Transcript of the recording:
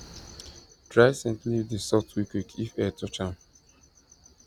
dry scent leaf dey soft quick quick if air touch am